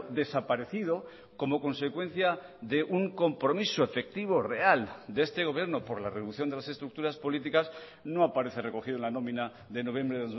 desaparecido como consecuencia de un compromiso efectivo real de este gobierno por la reducción de las estructuras políticas no aparece recogido en la nómina de noviembre